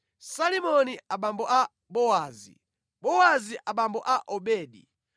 Salimoni abambo a Bowazi, Bowazi abambo a Obedi.